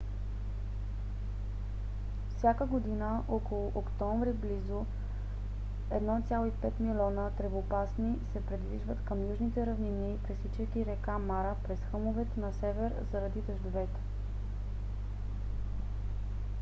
всяка година около октомври близо 1,5 милиона тревопасни се придвижват към южните равнини пресичайки река мара през хълмовете на север заради дъждовете